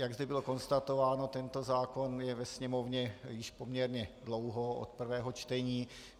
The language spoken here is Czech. Jak zde bylo konstatováno, tento zákon je ve sněmovně již poměrně dlouho od prvního čtení.